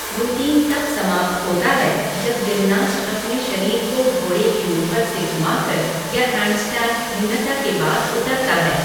Routine तब समाप्त होती है जब जिमनास्ट अपने शरीर को घोड़े के ऊपर से घुमाकर या हैंडस्टैंड भिन्नता के बाद उतरता है।